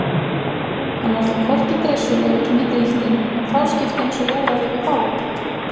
Hann var þó hvorki dreissugur né drýldinn en fáskiptinn svo jaðraði við fálæti.